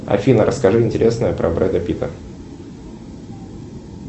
афина расскажи интересное про брэда питта